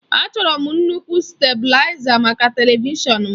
Achọrọ m nnukwu stabụlaiza maka televishọn m.